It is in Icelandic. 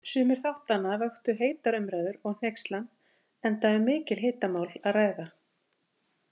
Sumir þáttanna vöktu heitar umræður og hneykslan, enda um mikil hitamál að ræða.